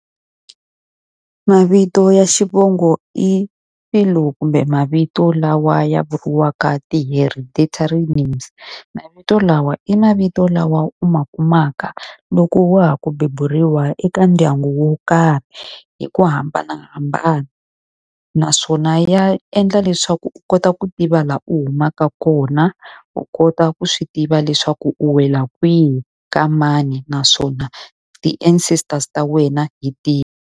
Mavito ya xivongo i kumbe mavito lawa ya vuriwaka ti-heritatory names. Mavito lawa i mavito lawa u ma kumaka loko wa ha ku beburiwa eka ndyangu wo karhi, hi ku hambanahambana. Naswona ya endla leswaku u kota ku tiva laha u humaka kona, u kota ku swi tiva leswaku u wela kwihi, ka mani, naswona ti-ancestors ta wena hi tihi.